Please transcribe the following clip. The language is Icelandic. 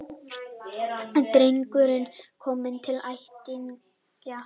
Drengurinn kominn til ættingja